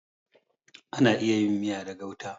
Ana iya yin miya da gauta.